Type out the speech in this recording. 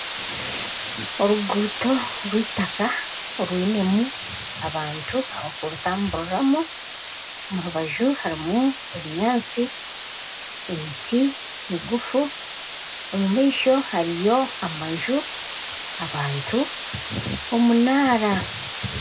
Oruguuto orw'itaka orwinemu abantu bakurutamburiramu omu rubaju harimu ebinyaatsi, emiti miguufu omu maisho hariyo amanju, bantu, omunaara